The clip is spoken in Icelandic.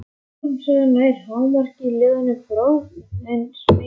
Harmsagan nær hámarki í ljóðinu Brotinn spegill.